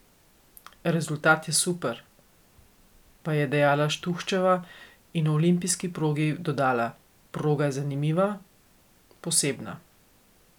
Rezultat je super," pa je dejala Štuhčeva in o olimpijski progi dodala: "Proga je zanimiva, posebna.